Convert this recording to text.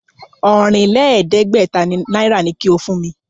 Ọ̀rìnlẹ̀ẹ́dẹ́gbẹ̀ta náírà ni kí o kó fún mi!